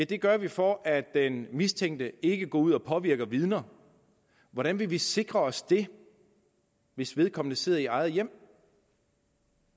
det gør vi for at den mistænkte ikke går ud og påvirker vidner hvordan vil vi sikre os det hvis vedkommende sidder i eget hjem